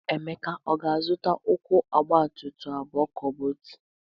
Emeka, ọ ga-azụta ụkwụ ọgbatumtum abụọ ka ọ bụ otu?